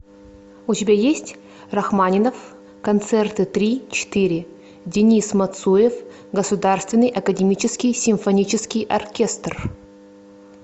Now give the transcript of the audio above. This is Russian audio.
у тебя есть рахманинов концерты три четыре денис мацуев государственный академический симфонический оркестр